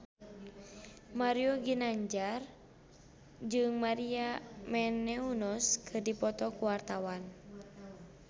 Mario Ginanjar jeung Maria Menounos keur dipoto ku wartawan